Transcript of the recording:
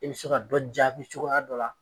E be se ka dɔ jaabi cogoya dɔ la